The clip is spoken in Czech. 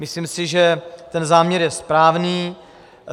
Myslím si, že ten záměr je správný.